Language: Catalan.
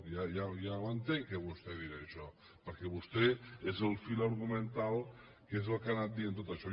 ja ho entenc que vostè dirà això perquè vostè és el fil argumental que és el que ha anat dient tot això